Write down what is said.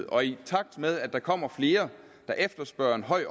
og i takt med at der kommer flere der efterspørger en høj